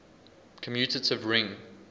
commutative ring